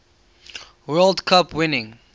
world cup winning